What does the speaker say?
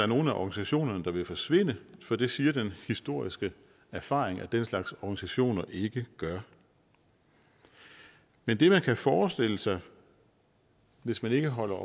nogen af organisationerne der vil forsvinde for det siger den historiske erfaring at den slags organisationer ikke gør men det man kan forestille sig hvis man ikke holder